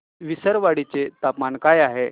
विसरवाडी चे तापमान काय आहे